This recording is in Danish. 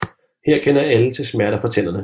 Her kender alle til smerter fra tænderne